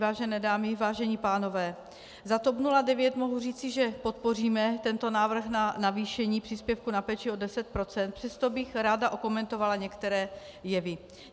Vážené dámy, vážení pánové, za TOP 09 mohu říci, že podpoříme tento návrh na navýšení příspěvku na péči o 10 %, přesto bych ráda okomentovala některé jevy.